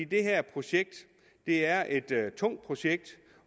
det her projekt er et tungt projekt